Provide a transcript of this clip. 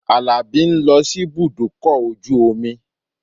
Àlàbí ń lọ síbùdókọ̀ ojú omi